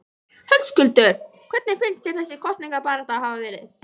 Höskuldur: Hvernig finnst þér þessi kosningabarátta hafa verið?